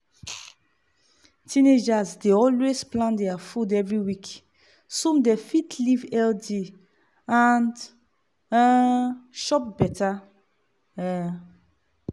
teenagers dey always plan their food every every week so dem fit live healthy and um chop better. um